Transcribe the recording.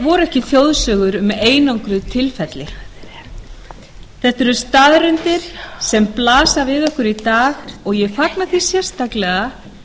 voru ekki þjóðsögur um einangruð tilfelli þetta eru staðreyndir sem blasa við okkur í dag og ég fagna því sérstaklega